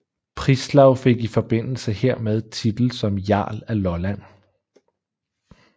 Prislav fik i forbindelse hermed titel som jarl af Lolland